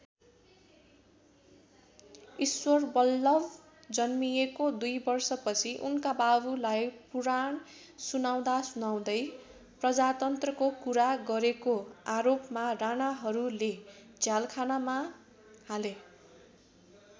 ईश्वरबल्लभ जन्मिएको २ वर्षपछि उनका बाबुलाई पुराण सुनाउँदासुनाउँदै प्रजातन्त्रको कुरा गरेको आरोपमा राणाहरूले झ्यालखानामा हाले।